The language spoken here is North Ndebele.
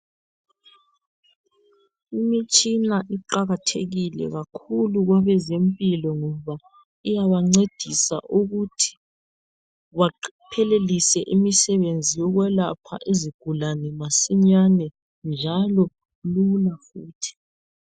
Imitshina iqakathekile kakhulu kwabezempilo ngoba iyabancedisa ukuthi baphelelise imisebenzi yokwelapha izigulane masinyane njalo lula futhi.